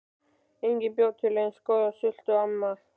Enginn bjó til eins góða sultu og amma.